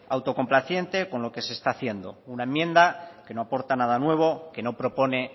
autocomplaciente con lo que se está haciendo una enmienda que no aporta nada nuevo que no propone